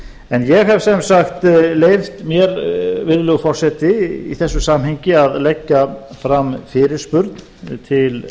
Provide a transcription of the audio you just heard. en ég hef sem sagt leyft mér virðulegi forseti í þessu samhengi að leggja fram fyrirspurn til